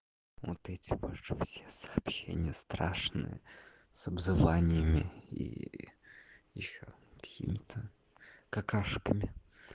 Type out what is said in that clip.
вот эти ваши все сообщения страшные с обзываньями и ещё какими-то какашками